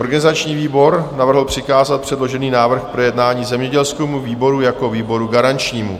Organizační výbor navrhl přikázat předložený návrh k projednání zemědělskému výboru jako výboru garančnímu.